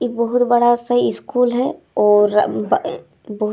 इ बहुत बड़ा-सा इस्कूल है और अ ब ए बहुत --